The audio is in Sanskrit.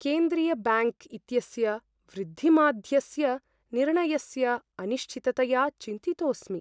केन्द्रीयब्याङ्क् इत्यस्य वृद्धिमाध्यस्य निर्णयस्य अनिश्चिततया चिन्तितोस्मि।